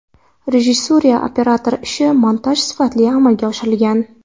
Rejissura, operator ishi, montaj sifatli amalga oshirilgan.